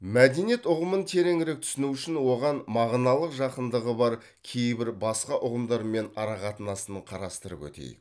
мәдениет ұғымын тереңірек түсіну үшін оған мағыналық жақындығы бар кейбір басқа ұғымдармен арақатынасын қарастырып өтейік